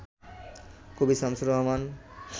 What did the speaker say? কবি শামসুর রাহমান